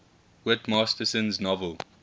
whit masterson's novel